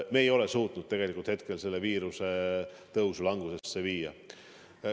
Me ei ole suutnud selle viiruse tõusu langusesse viia.